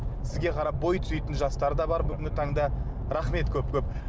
сізге қарап бой түзейтін жастар да бар бүгінгі таңда рахмет көп көп